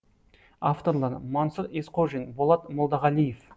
авторлары мансұр есқожин болат молдағалиев